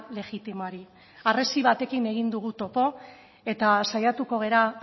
legitimoari harresi batekin egin dugu topo eta saiatuko gara